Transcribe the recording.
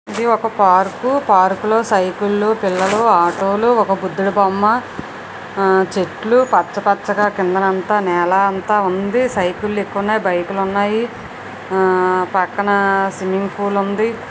ఇది ఒక park park లో సైకిళ్ళు పిల్లలు ఆటలు ఒక బుద్ధుడి బొమ్మ ఆ చెట్లు పచ్చపచ్చగా కిందనంతా నేల అంతా ఉంది. సైకిల్లు ఎక్కువ ఉన్నాయి. బైకు లు ఉన్నాయి ఆ పక్కన స్విమ్మింగ్ పూల్ ఉంది.